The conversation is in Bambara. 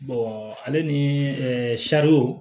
ale ni ɛɛ